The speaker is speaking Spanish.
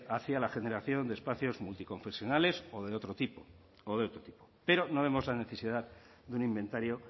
hacia la generación de espacios multiconfesionales o de otro tipo pero no vemos la necesidad de un inventario